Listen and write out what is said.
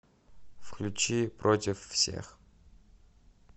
включи против всех